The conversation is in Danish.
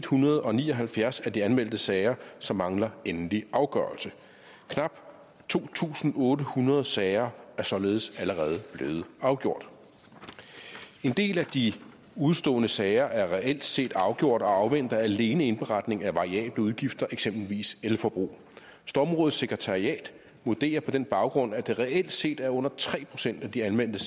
hundrede og ni og halvfjerds af de anmeldte sager som mangler endelig afgørelse knap to tusind otte hundrede sager er således allerede blevet afgjort en del af de udestående sager er reelt set afgjort og afventer alene indberetning af variable udgifter eksempelvis elforbrug stormrådets sekretariat vurderer på den baggrund at det reelt set er under tre procent af de anmeldte